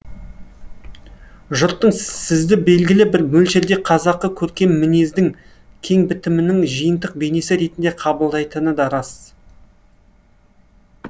жұрттың сізді белгілі бір мөлшерде қазақы көркем мінездің кеңбітімінің жиынтық бейнесі ретінде қабылдайтыны да рас